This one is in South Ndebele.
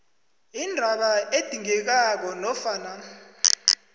indaba edingekako nofana